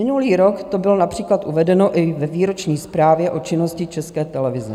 Minulý rok to bylo například uvedeno i ve výroční zprávě o činnosti České televize.